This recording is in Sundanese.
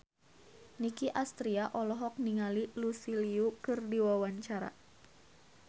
Nicky Astria olohok ningali Lucy Liu keur diwawancara